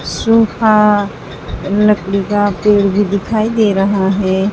सूखा लकड़ी का पेड़ भी दिखाई दे रहा है।